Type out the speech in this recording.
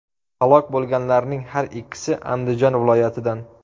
Halok bo‘lganlarning har ikkisi Andijon viloyatidan.